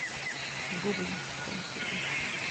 гоблин шестая серия